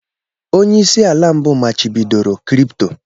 Onye isi ala mbụ machibidoro crypto